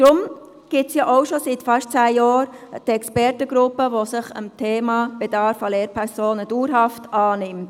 Deshalb gibt es denn auch seit fast zehn Jahren die Expertengruppe, die sich dem Thema «Bedarf an Lehrpersonen» dauerhaft annimmt.